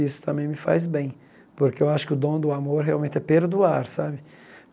Isso também me faz bem, porque eu acho que o dom do amor realmente é perdoar, sabe?